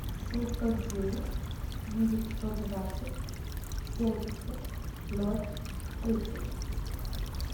семьсот девять девятьсот двадцать семьдесят ноль тридцать